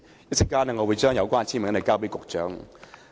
我稍後會把有關的簽名交給局長。